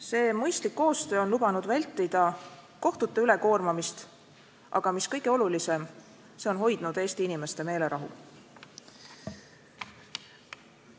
See mõistlik koostöö on lubanud vältida kohtute ülekoormamist, aga mis kõige olulisem: see on hoidnud Eesti inimeste meelerahu.